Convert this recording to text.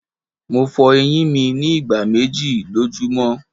Mo fo eyin mi ni igba meji lojumọ